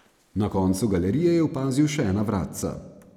Na koncu galerije je opazil še ena vratca.